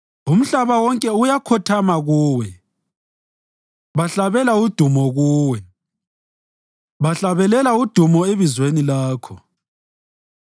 Umhlaba wonke uyakhothama Kuwe; bahlabela udumo Kuwe, bahlabelela udumo ebizweni Lakho.”